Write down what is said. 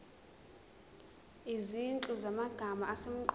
izinhlu zamagama asemqoka